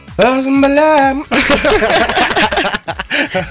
өзім білемін